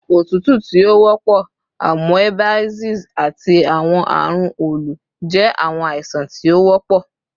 otutu ti o wọpọ, amoebiasis, ati awọn arun olu jẹ awọn aisan ti o wọpọ